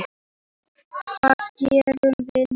Hvað gerum við nú